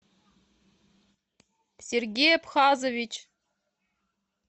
сергей абхазович